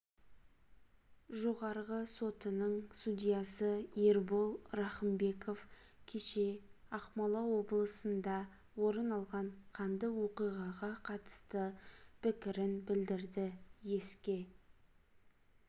жоғарғы сотының судьясы ербол рахымбеков кеше ақмола облысында орын алған қанды оқиғаға қатысты пікірін білдірді еске